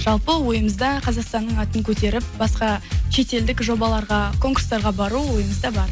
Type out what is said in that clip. жалпы ойымызда қазақстанның атын көтеріп басқа шетелдік жобаларға конкурстарға бару ойымызда бар